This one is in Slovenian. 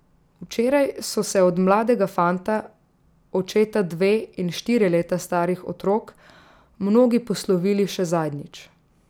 Včeraj so se od mladega fanta, očeta dve in štiri leta starih otrok, mnogi poslovili še zadnjič.